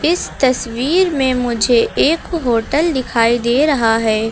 इस तस्वीर में मुझे एक होटल दिखाई दे रहा है।